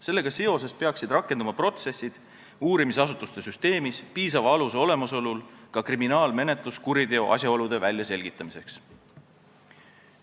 Sellega seoses peaksid rakenduma protsessid uurimisasutuste süsteemis, piisava aluse olemasolu korral ka kriminaalmenetlus kuriteo asjaolude väljaselgitamiseks.